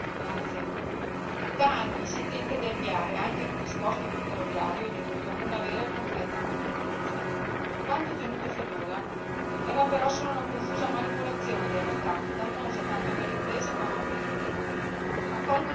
Signor Presidente, onorevoli colleghi, da anni si tenta di avviare, anche nel trasporto ferroviario dell'Unione, una vera e concreta concorrenza. Quanto ottenuto finora era però solo una confusa manipolazione del mercato, dannosa tanto per le imprese quanto per gli utenti.